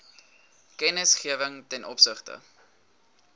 kennisgewing ten opsigte